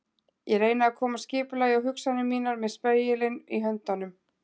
Ég reyni að koma skipulagi á hugsanir mínar með spegilinn í höndunum.